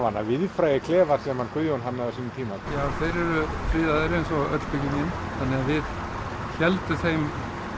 hina víðfrægu klefa sem Guðjón hannaði já þeir eru friðaðir við héldum þeim